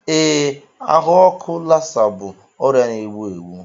Ee, ahụ ọkụ Lassa bụ ọrịa na-egbu egbu.